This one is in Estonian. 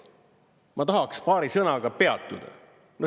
Ma tahaks paari sõnaga peatuda.